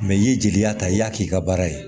Mɛ i ye jeliya ta i y'a k'i ka baara ye